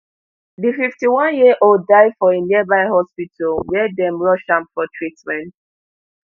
di fifty-oneyearold die for a nearby hospital wia dem rush am for treatment